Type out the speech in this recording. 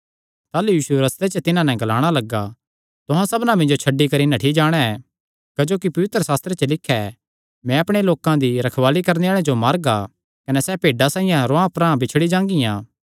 ताह़लू यीशु रस्ते च तिन्हां नैं ग्लाणा लग्गा तुहां सबना मिन्जो छड्डी करी नठ्ठी जाणा ऐ क्जोकि पवित्रशास्त्रे च लिख्या ऐ मैं रखवाल़े जो मारगा कने भेड्डां रुआंह परांह बिछड़ी जांगियां